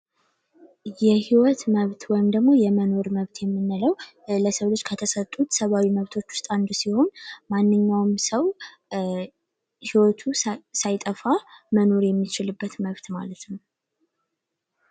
የህይወት መብት ወይም ደግሞ የመኖር መብት የሚነለው ለሰው ልጅ ከተሰጡት ሰባዩ መብቶች ውስጥ አንዱ ሲሆን ማንኛውም ሰው ሕይወቱ ሳይጠፋ መኖር የሚችልበት መብት ማለት ነው፡፡